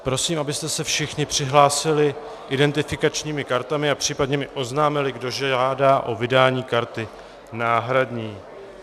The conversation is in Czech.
Prosím, abyste se všichni přihlásili identifikačními kartami a případně mi oznámili, kdo žádá o vydání karty náhradní.